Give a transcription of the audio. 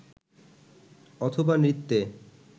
অথবা নৃত্যে